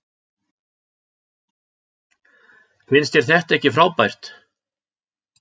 Finnst þér þetta ekki frábært?